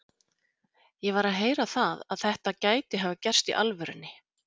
Ég var að heyra það að þetta gæti hafa gerst í alvörunni.